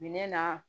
Minɛn na